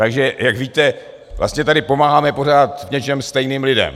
Takže jak víte, vlastně tady pomáháme v něčem stejným lidem.